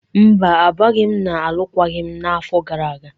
Mba, agbaghị m alụkwaghịm n'afọ gara aga.